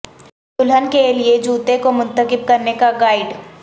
دلہن کے لئے جوتے کو منتخب کرنے کا گائیڈ